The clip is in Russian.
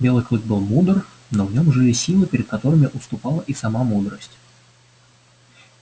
белый клык был мудр но в нем жили силы перед которыми отступала и сама мудрость